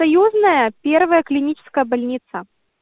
союзная первая клиническая больница